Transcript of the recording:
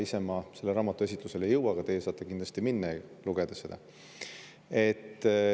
Ise ma selle raamatu esitlusele ei jõua, aga teie saate kindlasti minna ja lugeda seda.